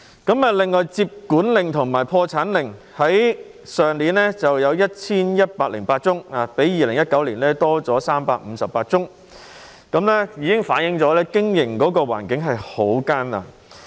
至於接管令和破產令方面，去年有 1,108 宗，較2019年增加358宗，這已經反映經營環境很艱難。